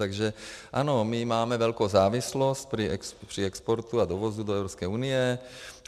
Takže ano, my máme velkou závislost při exportu a dovozu do EU.